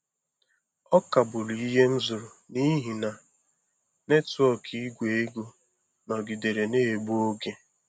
A kagburu ihe m zụrụ n'ihi na netwọk Igwe ego nọgidere na-egbu oge.